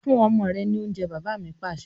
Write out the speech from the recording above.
Fún ọmọ rẹ ni oúnjẹ! Bàbá mi Pàṣẹ.